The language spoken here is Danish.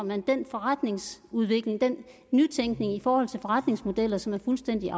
man den forretningsudvikling den nytænkning i forhold til forretningsmodeller som er fuldstændig